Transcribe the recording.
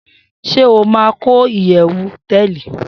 Shey o ma ko iyewu hoteeli